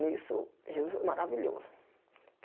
Nisso, Jesus foi maravilhoso.